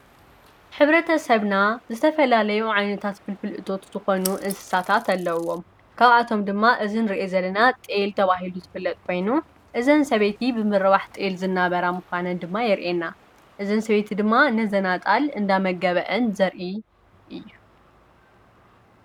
ሕብረተ ሰብና ዝተፈላለዩ ዓይነታት ፍልፍል እቶት ዝኮኑ እንስሳታት ኣለዉዎም፡፡ ካብኣቶም ድማ እዚ እንሪኦ ዘለና ጥየል ተባሂሉ ዝፍለጥ ኮይኑ እዘን ሰበይቲ ብምርባሕ ጥየል ዝናበራ ምኳነን ድማ ይርእየና፡፡ እዘን ሰበይቲ ድማ ነዘን ኣጣል እንዳመገበአን ዘርኢ እዩ፡፡